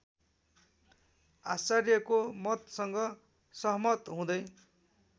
आचार्यको मतसँग सहमतहुँदै